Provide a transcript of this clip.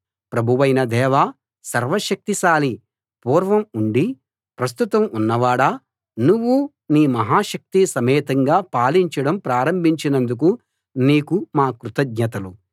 ప్రభువైన దేవా సర్వ శక్తిశాలీ పూర్వం ఉండి ప్రస్తుతం ఉన్నవాడా నువ్వు నీ మహాశక్తి సమేతంగా పాలించడం ప్రారంభించినందుకు నీకు మా కృతజ్ఞతలు